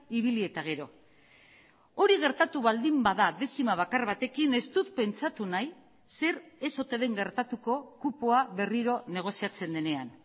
ibili eta gero hori gertatu baldin bada dezima bakar batekin ez dut pentsatu nahi zer ez ote den gertatuko kupoa berriro negoziatzen denean